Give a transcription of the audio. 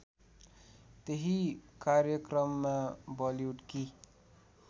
त्यही कार्यक्रममा बलिउडकी